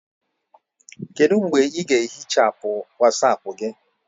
Kedu mgbe ị ga-ehichapụ Wasapu gị?